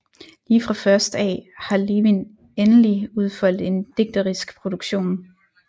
Lige fra først af har Levin endelig udfoldet en digterisk produktion